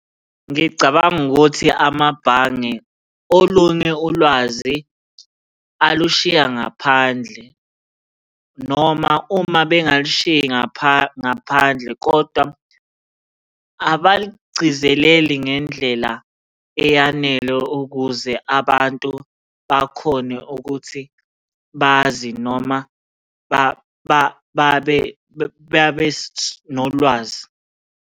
Ngicabanga ukuthi amabhange, olunye ulwazi alushiya ngaphandle noma uma bengalushiyi ngaphandle kodwa abalugcizeleli ngendlela eyanele ukuze abantu bakhone ukuthi bazi noma babe nolwazi.